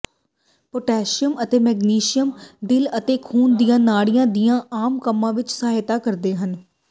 potassium ਅਤੇ magnesium ਦਿਲ ਅਤੇ ਖੂਨ ਦੀਆਂ ਨਾੜੀਆਂ ਦੀਆਂ ਆਮ ਕੰਮਾਂ ਵਿੱਚ ਸਹਾਇਤਾ ਕਰਦੇ ਹਨ